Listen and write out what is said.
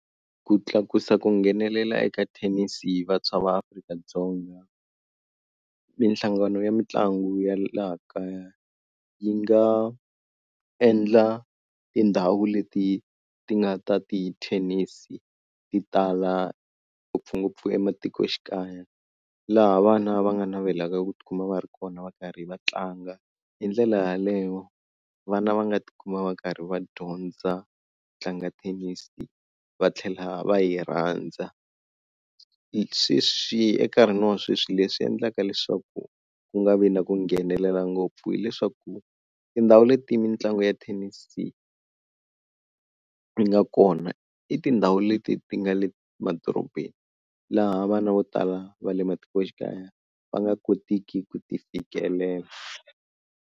Ku tlakusa ku nghenelela eka thenisi hi vantshwa va Afrika-Dzonga mihlangano ya mitlangu ya laha kaya yi nga endla tindhawu leti ti nga ta ti thenisi ti tala ngopfungopfu ematikoxikaya laha vana va nga navelaka ku tikuma va ri kona va karhi va tlanga hi ndlela yaleyo vana va nga tikuma va karhi va dyondza tlanga thenisi va tlhela va yi rhandza. Sweswi enkarhini wa sweswi leswi endlaka leswaku ku nga vi na ku nghenelela ngopfu hileswaku tindhawu leti mitlangu ya thenisi yi nga kona i tindhawu leti ti nga le madorobeni laha vana vo tala va le matikoxikaya va nga kotiki ku ti fikelela.